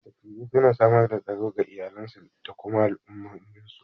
Dattijai suna samar da tsaro ga iyalansu da kuma al'ummominsu.